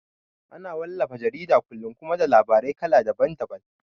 Ana wallafa jaridar kullum kuma da labarai kala daban daban